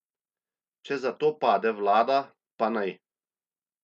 Če zato pade vlada, pa naj.